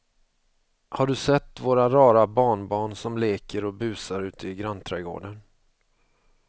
Har du sett våra rara barnbarn som leker och busar ute i grannträdgården!